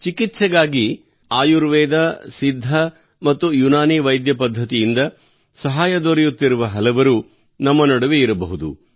ಚಿಕಿತ್ಸೆಗಾಗಿ ಆಯುರ್ವೇದ ಸಿದ್ಧ ಅಥವಾ ಯುನಾನಿ ವೈದ್ಯಪದ್ಧತಿಯಿಂದ ಸಹಾಯ ದೊರೆಯುತ್ತಿರುವ ಹಲವರು ನಮ್ಮ ನಡುವೆ ಇರಬಹುದು